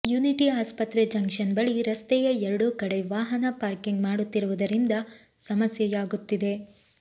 unity ಆಸ್ಪತ್ರೆ junction ಬಳಿ ರಸ್ತೆಯ ಎರಡೂ ಕಡೆ ವಾಹನ ಪಾರ್ಕಿಂಗ್ ಮಾಡುತ್ತಿರುವುದರಿಂದ ಸಮಸ್ಯೆಯಾಗುತ್ತಿದೆ